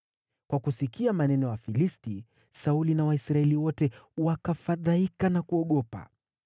Kwa kusikia maneno ya Wafilisti, Sauli na Waisraeli wote wakafadhaika na kuogopa.